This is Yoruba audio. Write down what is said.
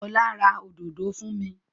Ọlá ra òdòdó fún mi.